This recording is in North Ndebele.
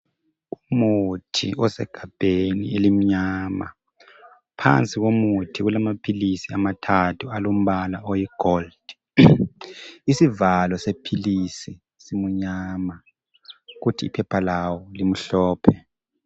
Umuthi osegabheni elimnyama. Phansi komuthi kulamaphilisi amathathu alombala oligolide. Isivalo sephilisi simnyama kuthi iphepha lawo limhlophe.